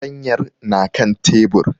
Fartanyan na kan tebur